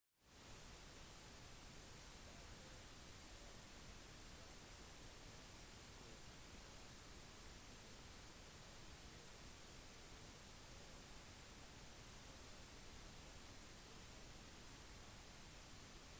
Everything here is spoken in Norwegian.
de starter som trakter som synker fra stormskyer og blir om til «tornadoer» når de kommer på bakkenivå